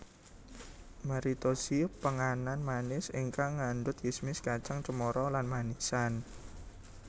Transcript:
Maritozzi penganan manis ingkang ngandut kismis kacang cemara lan manisan